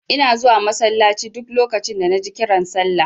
Ina zuwa masallaci duk lokacin da naji kiran sallah.